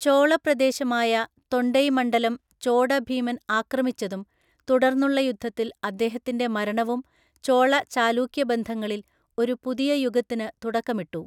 ചോളപ്രദേശമായ തൊണ്ടൈമണ്ഡലം ചോഡഭീമൻ ആക്രമിച്ചതും തുടർന്നുള്ള യുദ്ധത്തിൽ അദ്ദേഹത്തിന്‍റെ മരണവും ചോള ചാലൂക്യ ബന്ധങ്ങളിൽ ഒരു പുതിയ യുഗത്തിന് തുടക്കമിട്ടു.